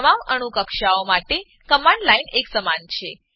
તમામ અણુ કક્ષાઓ માટે કમાંડ લાઈન એકસમાન છે